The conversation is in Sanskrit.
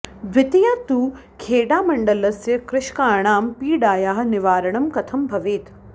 द्वितीया तु खेडामण्डलस्य कृषकाणां पीडायाः निवारणं कथं भवेत्